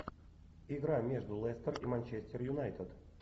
игра между лестер и манчестер юнайтед